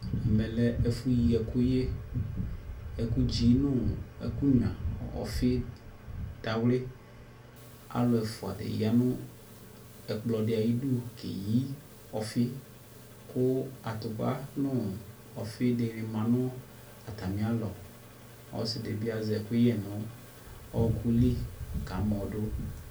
Ɛmɛ lɛ ɛfʋyi ɛkʋyɛ Ɛkʋdzi nʋ ɛkʋnyua, ɔfi dawli Alʋɛ ɛfʋa di ya nʋ ɛkplɔ di ayidu keyi ɔfi kʋ atʋpa nʋ ɔfi dini ma nʋ atami lɔ Ɔsi di bi azɛ ɛkʋyɛ nʋ ɔɔkʋ li kamɔ du